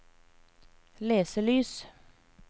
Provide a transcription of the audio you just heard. leselys